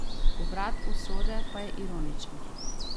Obrat usode pa je ironičen.